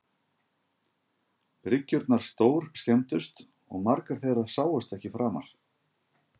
Bryggjurnar stórskemmdust og margar þeirra sáust ekki framar.